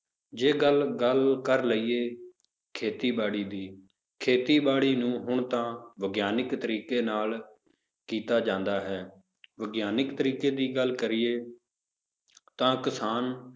ਜੇ ਗੱਲ ਗੱਲ ਕਰ ਲਈਏ ਖੇਤੀਬਾੜੀ ਦੀ, ਖੇਤੀਬਾੜੀ ਨੂੰ ਹੁਣ ਤਾਂ ਵਿਗਿਆਨਿਕ ਤਰੀਕੇ ਨਾਲ ਕੀਤਾ ਜਾਂਦਾ ਹੈ, ਵਿਗਿਆਨਿਕ ਤਰੀਕੇ ਦੀ ਗੱਲ ਕਰੀਏ ਤਾਂ ਕਿਸਾਨ